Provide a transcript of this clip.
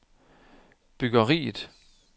byggeriet